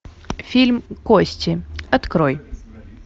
фильм кости открой